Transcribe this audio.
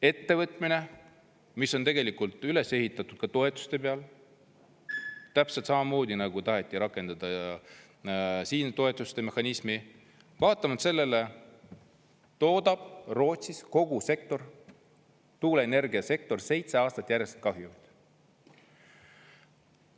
Ettevõtmine, mis on tegelikult üles ehitatud ka toetuste peal, täpselt samamoodi, nagu taheti rakendada ka siin toetuste mehhanismi, vaatamata sellele toodab Rootsis kogu tuuleenergiasektor seitse aastat järjest kahjumit.